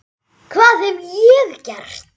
hvað hef ég gert?